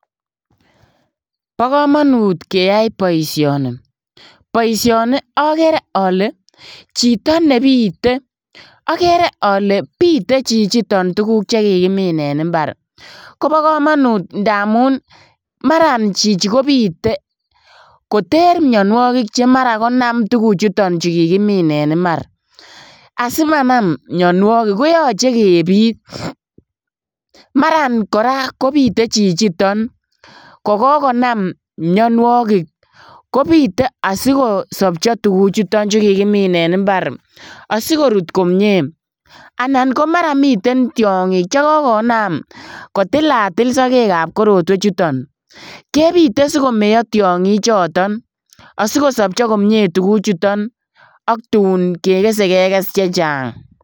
Bokomonut keyai boisioni, boisioni okere ole chito nebite okere ole bite chichiton tuguk chekikimin en imbar kobokomonut ndamun imbarani chichi kobite koter mionuokik chemaran konam tuguchu kikimin en imbar asimanam mionuokik koyoche kebit, maran koraa kobite chichiton kogokonam mionuokik kobite asikosopcho tuguchuton chu kikimin en imbar asikorut komie anan komara mi tiongik chekokonam kotilatil sokekab korotwechuton kebite sikomeyo tiongichoton asikosobcho komie tuguchuton oktun kekese kekes chechang.